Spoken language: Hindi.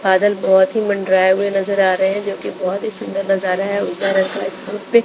बादल बहोत ही मंडराये हुए नजर आ रहे हैं जो की बहोत ही सुंदर नजर है उजाला रंग का इस पे--